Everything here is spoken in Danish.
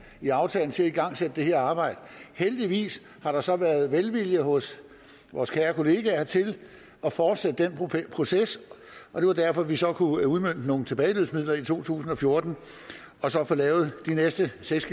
i aftalen til at igangsætte det her arbejde heldigvis har der så været velvilje hos vores kære kolleger til at fortsætte den proces og det var derfor vi så kunne udmønte nogle tilbageløbsmidler i to tusind og fjorten og så få lavet de næste seks